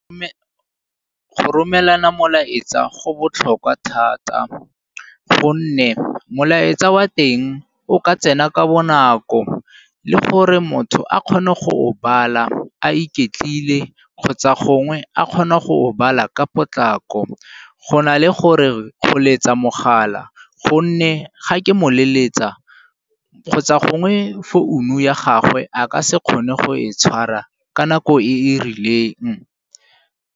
go romelana molaetsa go botlhokwa thata gonne molaetsa wa teng o ka tsena ka bonako le gore motho a kgone go o bala a iketlile kgotsa gongwe a kgona go o bala ka potlako, go na le gore go letsa mogala gonne ga ke mo leletsa, kgotsa gongwe founu ya gagwe a ka se kgone go e tshwara ka nako e e rileng.